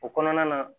O kɔnɔna na